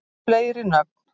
fleiri nöfn